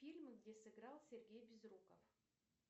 фильмы где сыграл сергей безруков